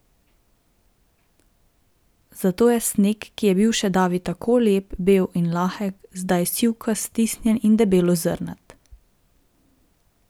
Zato je sneg, ki je bil še davi tako lep, bel in lahek, zdaj sivkast, stisnjen in debelozrnat.